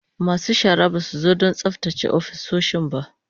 Masu shara ba su zo don tsaftace ofisoshin ba